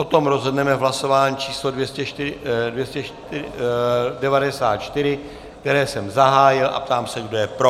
O tom rozhodneme v hlasování číslo 94, které jsem zahájil, a ptám se, kdo je pro.